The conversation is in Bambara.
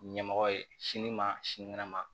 Ɲɛmɔgɔ ye sini ma sinikɛnɛ ma